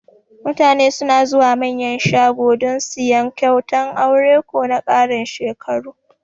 Mutane suna zuwa Manyan shago dan siyan kyautan aure ko na karin shekaru